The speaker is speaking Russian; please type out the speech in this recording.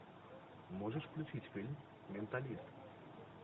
можешь включить фильм менталист